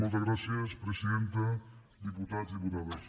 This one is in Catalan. moltes gràcies presidenta diputats diputades